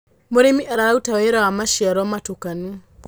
mũrĩmi araruta ũrĩmi wa maciaro mutukanu